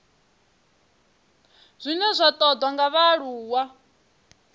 zwine zwa ṱoḓwa nga vhaaluwa